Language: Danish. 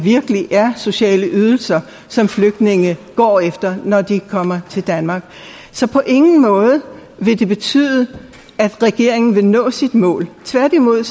sociale ydelser som flygtninge går efter når de kommer til danmark så på ingen måde vil det betyde at regeringen vil nå sit mål tværtimod